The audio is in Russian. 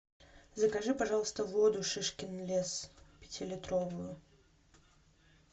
закажи пожалуйста воду шишкин лес пятилитровую